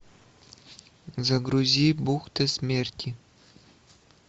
загрузи бухты смерти